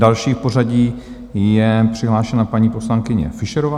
Další v pořadí je přihlášena paní poslankyně Fischerová.